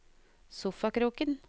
sofakroken